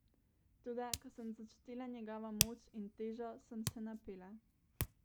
Toda ko sem začutila njegovo moč in težo, sem se napela.